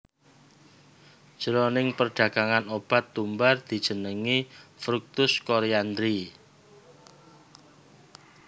Jroning perdagangan obat tumbar dijenengi fructus coriandri